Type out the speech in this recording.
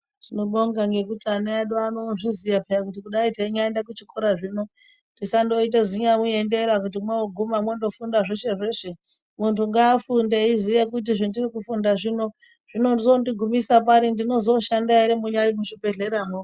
Tinobonga ngekuti ana edu ozviziya paa kuti dai teinyaende kuchikora zvino tisandoite ziyauendera kuti mwoguma mwondofunda zveshe zveshe muntu ngaafunde eiziya kuti zvandiri kufunda zvino zvinondigumisa pari ndinozoshanda ere munyari muzvibhedhlera mwo.